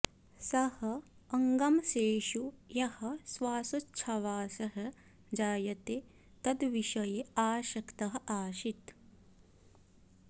सः अङ्गांशेषु यः श्वासोच्छ्वासः जायते तद्विषये आसक्तः आसीत्